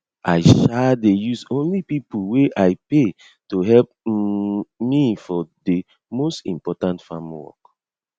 i um dey only use pipo wey i pay to help um me for de most important farm work